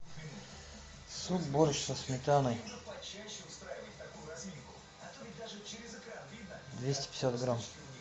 суп борщ со сметаной двести пятьдесят грамм